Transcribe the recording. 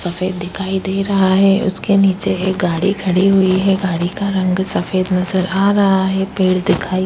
सफेद दिखाई दे रहा है उसके नीचे एक गाड़ी खड़ी हुई है। गाड़ी का रंग सफेद नजर आ रहा है पेड़ दिखाई --